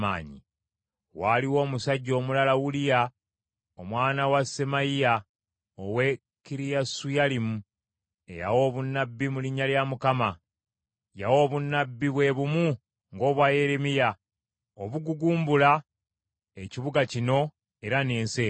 Waaliwo omusajja omulala Uliya omwana wa Semaaya ow’e Kiriyasuyalimu, eyawa obunnabbi mu linnya lya Mukama . Yawa obunnabbi bwe bumu ng’obwa Yeremiya obugugumbula ekibuga kino era n’ensi eno.